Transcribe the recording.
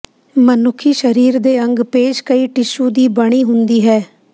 ਮਨੁੱਖੀ ਸਰੀਰ ਦੇ ਅੰਗ ਪੇਸ਼ ਕਈ ਟਿਸ਼ੂ ਦੀ ਬਣੀ ਹੁੰਦੀ ਹੈ